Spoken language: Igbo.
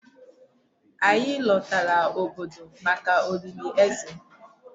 Anyị lọtara obodo maka olili Eze.